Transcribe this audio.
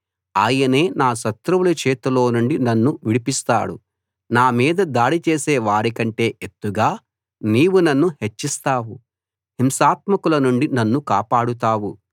ఆయనే నా శత్రువుల చేతిలో నుండి నన్ను విడిస్తాడు నా మీద దాడి చేసే వారి కంటే ఎత్తుగా నీవు నన్ను హెచ్చిస్తావు హింసాత్మకుల నుండి నన్ను కాపాడుతావు